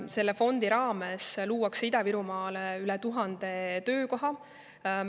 Selle fondi raames luuakse Ida‑Virumaale üle tuhande töökoha.